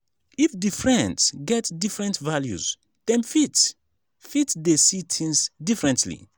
if di friends get different values dem fit fit de see things differently